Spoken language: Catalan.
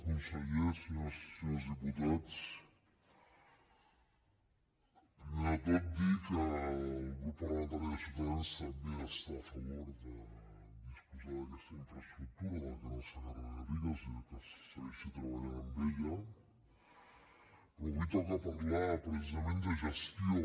conseller senyores i senyors diputats primer de tot dir que el grup parlamentari de ciutadans també està a favor de disposar d’aquesta infraestructura del canal segarra garrigues i que s’hi segueixi treballant però avui toca parlar precisament de gestió